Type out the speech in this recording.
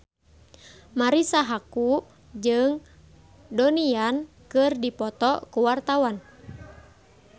Marisa Haque jeung Donnie Yan keur dipoto ku wartawan